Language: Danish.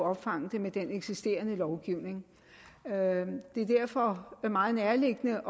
opfange det med den eksisterende lovgivning det er derfor meget nærliggende